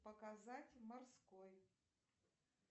показать морской